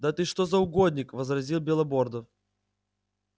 да ты что за угодник возразил белобордов